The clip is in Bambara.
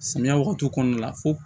Samiya wagati kɔnɔna la fo